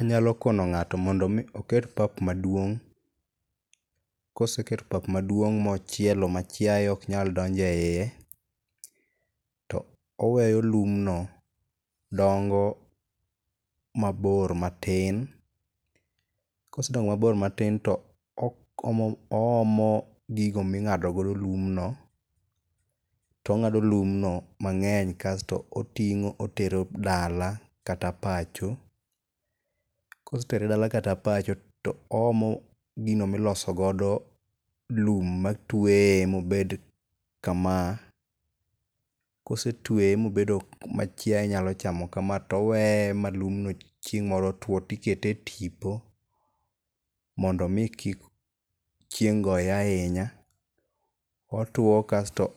Anyalo kono ng'ato mondo mi oket pap maduong'. Koseketo papa maduong' mochielo ma chiayo ok nyal donje iye to oweyo lum no dongo mabor matin kosedongo mabor matin toomo gigo ming'ado godo lum no tong'ado lum no mang'eny kasto oting'o otero dala kata pacho . Kosetere dala kata pacho toomo gino miloso godo lum matweye mobed kama a . kosetweye machiaye nyalo chamo kamaa toweye ma lum no chieng' moro two tikete e tipo mondo mi kik chieng goye ahinya otwo kasto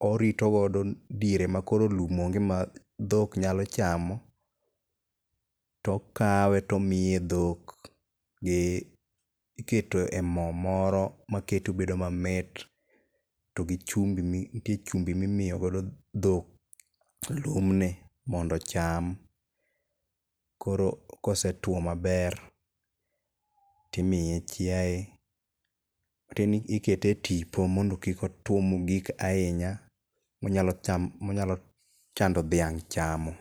orito godo diere ma koro lum onge ma dhok nyalo chamo, tokawe tomiye dhok gi iketo e moo moro makete obedo mamit to gi chumbi mi ntie chumbi mimiyo godo dhok lum ni mondo ocham koro kosetwo maber timiye chiaye ikete tipo mondo kik otwo mogik ahinya manyalo chando manyalo tamo dhiang' chamo.